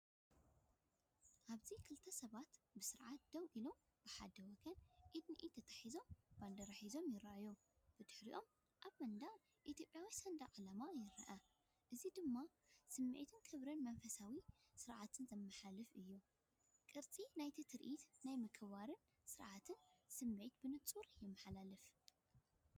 ኣብዚ ክልተ ሰባት ብስነ-ስርዓት ደው ኢሎም ብሓደ ወገን ኢድ ንኢድ ተተሓሒዞም ባንዴራ ሒዞም ይረኣዩ። ብድሕሪኦም ኣብ መንደቕ ኢትዮጵያዊ ሰንደቕ ዕላማ ይርአ፣ እዚ ድማ ስምዒት ክብርን መንፈሳዊ ስነ-ስርዓትን ዘመሓላልፍ እዩ። ቅርጺ ናይቲ ትርኢት ናይ ምክብባርን ስርዓትን ስምዒት ብንጹር የመሓላልፍ።